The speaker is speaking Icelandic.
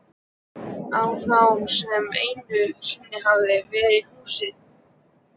Á það sem einu sinni hafði verið húsið.